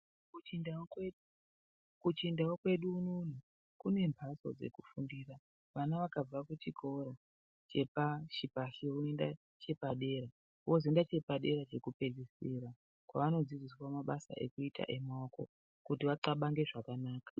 Kuchindau kwedu, kuchindau kwedu unouno kune mphatso dzekufundira , vana vakabva kuchikora chepashipashi voenda chepadera vozoenda chepaderadera chekupedzisira kwavanodzidziswa mabasa emaoko kuti vaxabange zvakanaka.